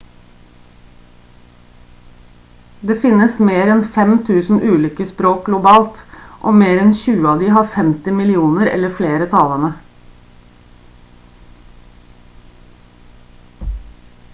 det finnes mer enn 5000 ulike språk globalt og mer enn tjue av de har 50 millioner eller flere talende